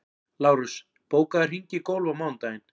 Lárus, bókaðu hring í golf á mánudaginn.